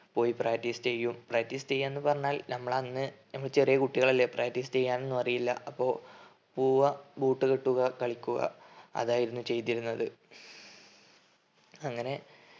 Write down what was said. പോയി practice ചെയ്യും. practice ചെയ്യാന്ന് പറഞ്ഞാൽ നമ്മളന്ന് നമ്മ ചെറിയെ കുട്ടികളല്ലേ practice ചെയ്യാനൊന്നും അറിയില്ല. അപ്പൊ പോവുവ boot കെട്ടുക കളിക്കുക അതായിരുന്നു ചെയ്തിരുന്നത്. അങ്ങനെ